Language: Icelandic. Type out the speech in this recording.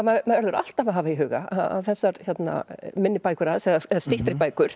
verður alltaf að hafa í huga að þessar minni bækur hans eða styttri bækur